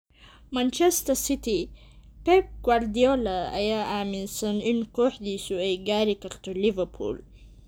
Manchester City: Pep Guardiola ayaa aaminsan in kooxdiisu ay gaari karto Liverpool